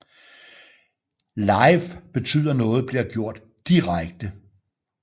Live betyder noget bliver gjort direkte